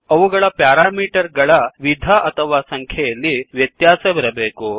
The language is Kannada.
ಅವುಗಳ ಪ್ಯಾರಾಮೀಟರ್ ಗಳ ವಿಧ ಅಥವಾ ಸಂಖ್ಯೆಗಳಲ್ಲಿ ವ್ಯತ್ಯಾಸವಿರಬೇಕು